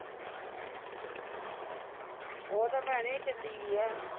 ਔਹ ਤੇ ਭੈਣੇਂ ਝੱਲੀ ਵੀ ਹੈ